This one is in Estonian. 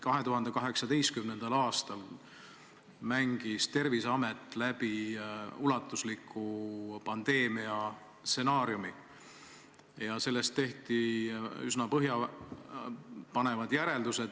2018. aastal mängis Terviseamet läbi ulatusliku pandeemia stsenaariumi ja sellest tehti üsna põhjapanevad järeldused.